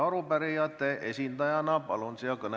Arupärijate esindaja Urve Tiidus, palun!